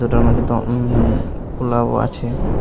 দুটার মধ্যে দম পোলাও আছে।